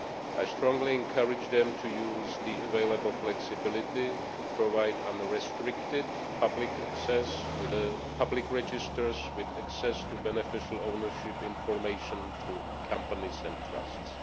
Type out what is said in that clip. I strongly encourage them to use the available flexibility to provide unrestricted public access to public registers with access to beneficiary ownership information to companies and trusts.